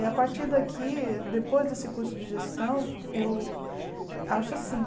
E a partir daqui, depois desse curso de gestão, eu acho assim,